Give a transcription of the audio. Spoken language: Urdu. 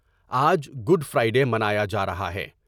آج گڈ فرائی ڈے منایا جارہا ہے ۔